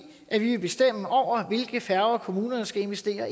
at vi vil bestemme hvilke færger kommunerne skal investere